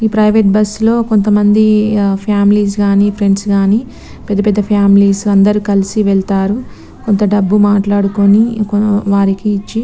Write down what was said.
ఈ private bus లో కొంత మంది ఫమిలేస్ గని ఫ్రెండ్స్ గాని పెద్ద పెద్ద ఫమిలేస్ అందరు కలిసి వేల్లతారు కొంత డబ్బు మాట్లాడుకొని వారిని ఇచ్చి --